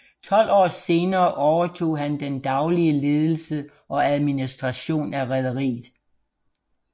Tolv år senere overtog han den daglige ledelse og administration af rederiet